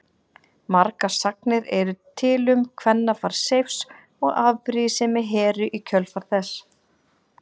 Margar sagnir eru til um kvennafar Seifs og afbrýðisemi Heru í kjölfar þess.